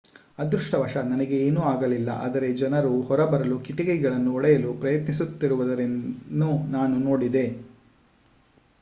ಅದೃಷ್ಟವಶಾತ್ ನನಗೆ ಏನೂ ಆಗಲಿಲ್ಲ ಆದರೆ ಜನರು ಹೊರಬರಲು ಕಿಟಕಿಗಳನ್ನು ಒಡೆಯಲು ಪ್ರಯತ್ನಿಸುತ್ತಿರುವುದನ್ನು ನಾನು ನೋಡಿದೆ